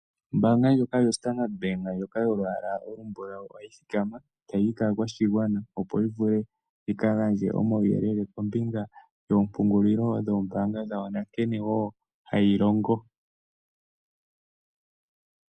Ombaanga ndjoka yoStandard ndjoka yolwaala olumbulawu, ohayi thikama tayiyi kaakwashigwana opo yivule yikafandje omawuyelele yoompungulilo yoombaanga dhawo nankene wo hayilongo.